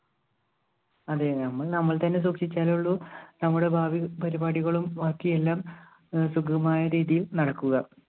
അതെ ഞമ്മൾ നമ്മൾ തന്നെ സൂക്ഷിച്ചാലുള്ളു നമ്മുടെ ഭാവി പരിപാടികളും ബാക്കിയെല്ലാം സുഖകരമായ രീതിയിൽ നടക്കുക.